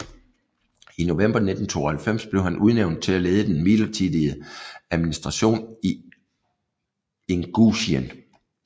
I november 1992 blev han udnævnt til at lede den midlertidige administration i Ingusjien